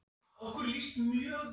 Í hvað eyðir þú æfingartímanum þínum?